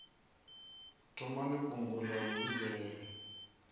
thomani fhungo ḽa u fhedzisela